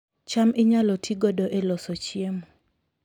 cham inyalo ti godo e loso chiemo